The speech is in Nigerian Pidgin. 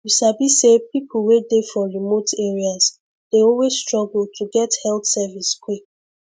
you sabi say people wey dey for remote areas dey always struggle to get health service quick